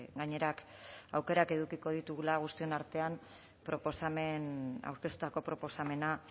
gainera aukerak edukiko ditugula guztion artean aurkeztutako proposamena